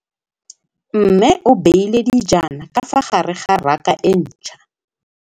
Mmê o beile dijana ka fa gare ga raka e ntšha.